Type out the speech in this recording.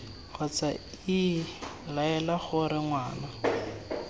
kgotsa iii laela gore ngwana